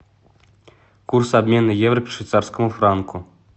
курс обмена евро к швейцарскому франку